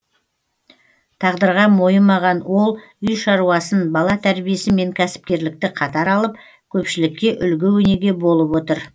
тағдырға мойымаған ол үй шаруасын бала тәрбиесі мен кәсіпкерлікті қатар алып көпшілікке үлгі өнеге болып отыр